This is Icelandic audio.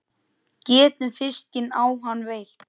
Getum fiskinn á hann veitt.